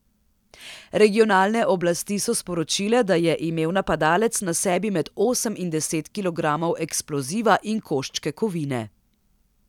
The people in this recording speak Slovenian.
Regionalne oblasti so sporočile, da je imel napadalec na sebi med osem in deset kilogramov eksploziva in koščke kovine.